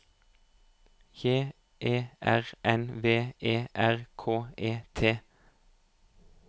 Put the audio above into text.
J E R N V E R K E T